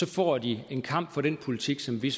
får de en kamp for den politik som vi